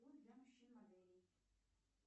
для мужчин моделей